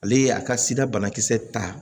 Ale ye a ka sida banakisɛ ta